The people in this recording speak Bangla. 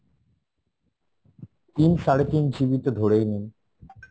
তিন, সাড়ে তিন GB তো ধরেই নিন